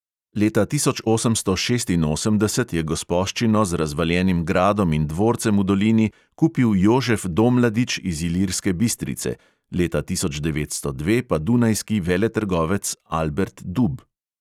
Leta tisoč osemsto šestinosemdeset je gospoščino z razvaljenim gradom in dvorcem v dolini kupil jožef domladič iz ilirske bistrice, leta tisoč devetsto dve pa dunajski veletrgovec albert dub.